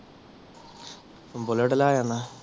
bullet ਲਾਇ ਆਉਣਾ